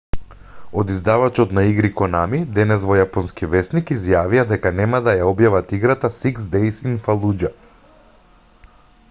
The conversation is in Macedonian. од издавачот на игри конами денес во јапонски весник изјавија дека нема да ја објават играта six days in fallujah